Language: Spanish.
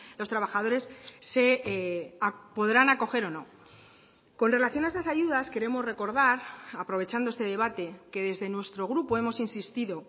los trabajadores se podrán acoger o no con relación a estas ayudas queremos recordar aprovechando este debate que desde nuestro grupo hemos insistido